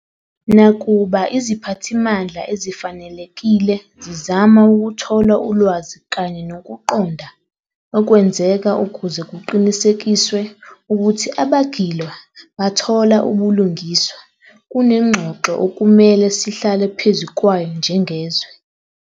Nakuba iziphathimandla ezifanelekile zizama ukuthola ulwazi kanye nokuqonda okwenzeka ukuze kuqinisekiswe ukuthi abagilwa bathola ubulungiswa, kunengxoxo okumele sihlale phezu kwayo njengezwe.